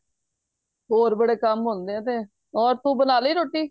ਹੋਰ ਬੜੇ ਕੰਮ ਹੁੰਦੇ ਏ ਤੇ ਹੋਰ ਤੂੰ ਬਣਾ ਲੀ ਰੋਟੀ